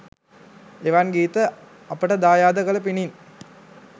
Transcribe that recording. එවන් ගීත අපට දායාද කල පිණින්